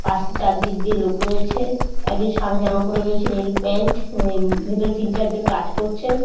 পাশে চারদিক দিয়ে লোক রয়েছে। একজন সাদা জামা পরে রয়েছে নীল প্যান্ট । উম ভিতরে তিন চার জন কাজ করছেন।